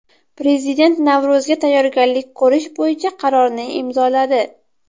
Prezident Navro‘zga tayyorgarlik ko‘rish bo‘yicha qarorni imzoladi.